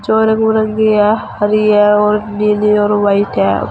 जो रंग बिरंगी है हरि है और नीली है और व्हाइट है।